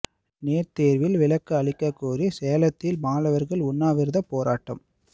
NEET தேர்வில் விலக்கு அளிக்க கோரி சேலத்தில் மாணவர்கள் உண்ணாவிரதப் போராட்டம்